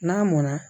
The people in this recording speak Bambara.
N'a mɔnna